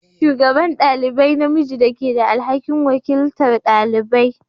Shugaban ɗalibai namiji da ke da alhakin wakiltar dalibai.